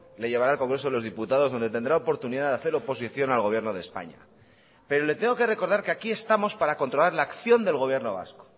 le llevará al congreso de los diputados donde tendrá oportunidad de hacer oposición al gobierno de españa pero le tengo que recordar que aquí estamos para controlar la acción del gobierno vasco